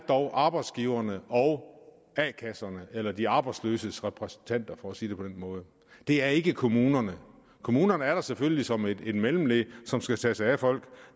arbejdsgiverne og a kasserne eller de arbejdsløses repræsentanter for at sige det på den måde det er ikke kommunerne kommunerne er der selvfølgelig som et mellemled som skal tage sig af folk